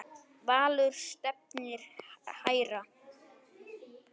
Valur stefnir hærra.